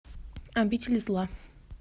обитель зла